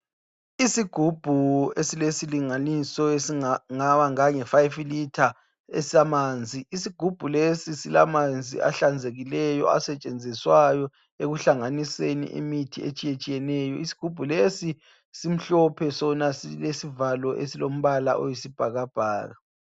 Isigubhu esilesilinganiso esingaba ngange fayifi litha esamanzi. Isigubhu lesi silamanzi ahlanzekileyo asetshenziswayo ekuhlanganiseni imithi etshiyetshiyeneyo. Isigubhu lesi simhlophe sona. Silesivalo esilombala oyisibhakabhaka.